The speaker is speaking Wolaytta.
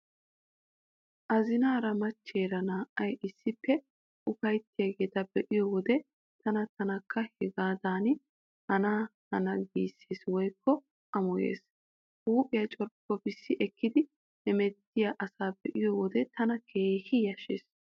Azinaara macheera naa"ay issippe ufayttiyaageeta be'iyo wode tana taanikka hagaadan hananee giissees woykko amoyees. Huuphiyaa corppoppissi ekki hemettiyaa asaa be'iyo wode tana keehi yashshees.